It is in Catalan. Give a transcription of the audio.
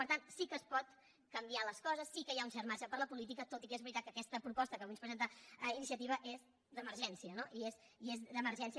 per tant sí que es poden canviar les coses sí que hi ha un cert marge per a la política tot i que és veritat que aquesta proposta que avui ens presenta iniciativa és d’emergència no i és d’emergència